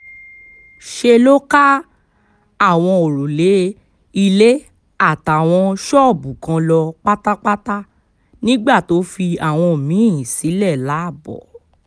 ṣe ló ká àwọn òrùlé ilé àtàwọn ṣọ́ọ̀bù kan lọ pátápátá nígbà tó fi àwọn mí-ín sílẹ̀ láàbò